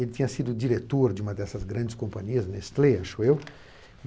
Ele tinha sido diretor de uma dessas grandes companhias, Nestlé, acho eu.